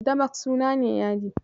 Damask suna ne yadi.